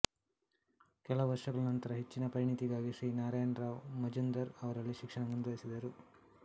ಕೆಲವು ವರ್ಷಗಳ ನಂತರ ಹೆಚ್ಚಿನ ಪರಿಣಿತಿಗಾಗಿ ಶ್ರೀ ನಾರಾಯಣ ರಾವ್ ಮಜುಂದಾರ್ ಅವರಲ್ಲಿ ಶಿಕ್ಷಣ ಮುಂದುವರಿಸಿದರು